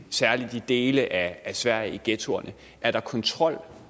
særlig i dele af sverige i ghettoerne er der kontrol